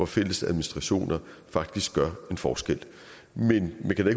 fælles administration faktisk gør en forskel men jeg kan da